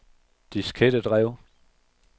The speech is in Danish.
diskettedrev